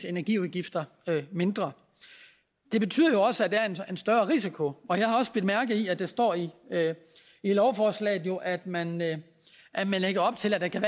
energiudgifter mindre det betyder jo også at der er en større risiko og jeg har også bidt mærke i at der står i lovforslaget at man at man lægger op til at der kan